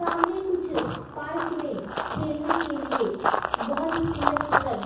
सामने कुछ पार्क में खेलने के लिए बहुत ही सुंदर सुंदर--